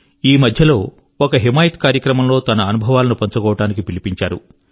ఈ మధ్యలో ఒక హిమాయత్ కార్యక్రమం లో తన అనుభవాలను పంచుకోడానికి పిలిపించారు